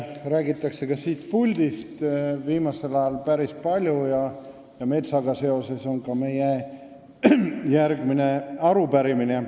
Metsast on siit puldist viimasel ajal päris palju räägitud ja metsaga on seotud ka meie järgmine arupärimine.